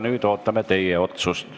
Nüüd ootame teie otsust.